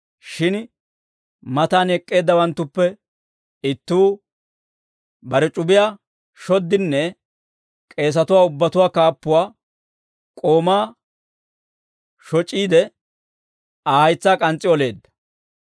Shin matan ek'k'eeddawanttuppe ittuu bare c'ubiyaa shoddinne k'eesatuwaa ubbatuwaa kaappuwaa k'oomaa shoc'iide, Aa haytsaa k'ans's'i oleedda.